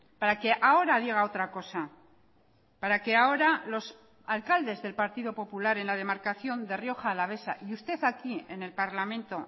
para que ahora diga otra cosa para que ahora los alcaldes del partido popular en la demarcación de rioja alavesa y usted aquí en el parlamento